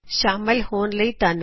ਸ਼ਾਮਲ ਹੋਣ ਲਈ ਧੰਨਵਾਦ